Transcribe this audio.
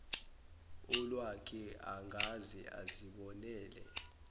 olwakhe angaze azibonele